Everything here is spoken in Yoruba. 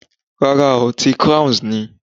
Rárá ooo, ti Crowns ni.